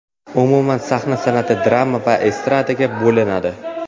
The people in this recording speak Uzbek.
Umuman sahna san’ati drama va estradaga bo‘linadi.